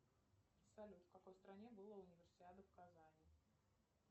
салют в какой стране была универсиада в казани